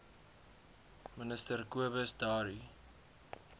minister cobus dowry